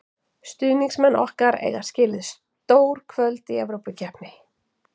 Stuðningsmenn okkar eiga skilið stór kvöld í Evrópukeppni.